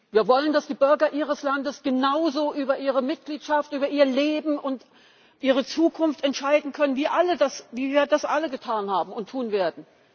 Wir wollen, dass die Bürger Ihres Landes genauso über ihre Mitgliedschaft, über ihr Leben und ihre Zukunft entscheiden können, wie wir das alle getan haben und tun werden.